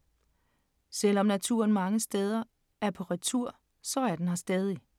Selv om naturen mange steder er på retur, så er den her stadig.